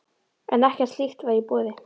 En ekkert slíkt var í boði.